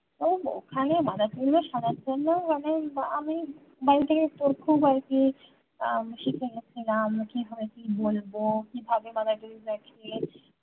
ও ওখানে মাদারটেরিজা সাজার জন্যে মানে আমি বাড়ি থাকে তো খুব আরকি হুম শিখে গিয়েছিলাম কিভাবে কি বলবো কিভাবে মাদারটেরিজাকে